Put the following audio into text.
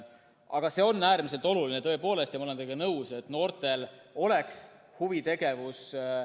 Aga see on äärmiselt oluline tõepoolest, ma olen teiega nõus, et noortel oleks huvitegevus.